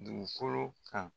Dugukolo kan.